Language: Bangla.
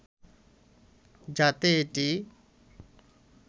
যাতে এটি